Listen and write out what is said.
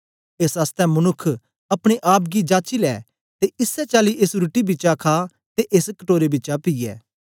एस आसतै मनुक्ख अपने आप गी जाची लै ते इसै चाली एस रुट्टी बिचा खा ते एस कटोरे बिचा पीऐ